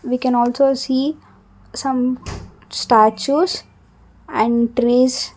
we can also see some statues and trees.